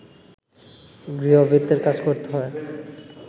গৃহভৃত্যের কাজ করতে হয়